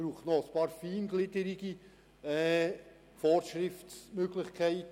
Es braucht noch einige feingliedrige Vorschriftsmöglichkeiten.